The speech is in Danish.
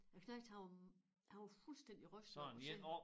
Æ knejt han var han var fuldstændig rystet over at se